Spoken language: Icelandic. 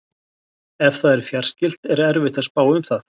ef það er fjarskylt er erfitt að spá um það